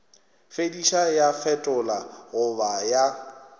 fetiša ya fetola goba ya